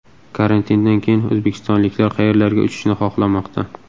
Karantindan keyin o‘zbekistonliklar qayerlarga uchishni xohlamoqda?